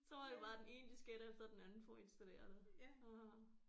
Så var det bare den ene disket efter den anden for at installere det åh